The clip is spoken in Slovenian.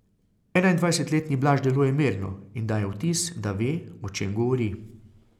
Enaindvajsetletni Blaž deluje mirno in daje vtis, da ve, o čem govori.